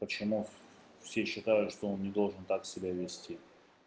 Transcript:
почему все считают что он не должен так себя вести